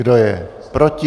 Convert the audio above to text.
Kdo je proti?